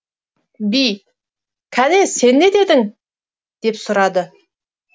би кәне сен не дедің деп сұрады